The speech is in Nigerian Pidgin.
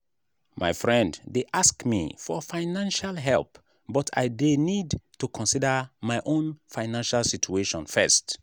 my friend dey ask me for financial help but i dey need to consider my own financial situation first.